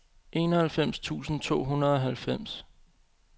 enoghalvfems tusind to hundrede og halvfems